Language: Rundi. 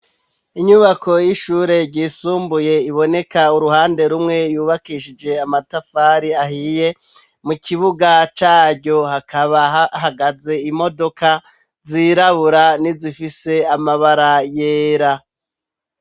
inyubako y'ishure ryisumbuye iboneka uruhande rumwe, yubakishije amatafari ahiye, mu kibuga caryo hakaba hahagaze imodoka zirabura, nizifise amabara yera.